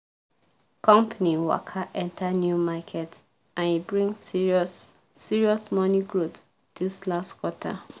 company waka enter new market and e bring serious serious money growth this last quarter